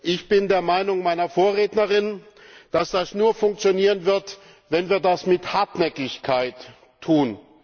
Ich bin der Meinung meiner Vorrednerin, dass das nur funktionieren wird, wenn wir das mit Hartnäckigkeit tun.